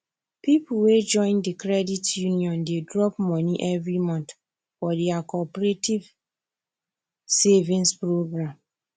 people wey join the credit union dey drop money every month for their cooperative savings program